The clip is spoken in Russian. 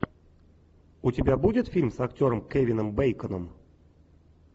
у тебя будет фильм с актером кевином бейконом